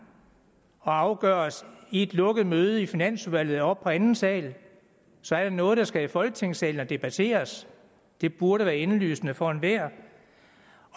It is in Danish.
og afgøres i et lukket møde i finansudvalget oppe på anden sal så er det noget der skal i folketingssalen og debatteres det burde være indlysende for enhver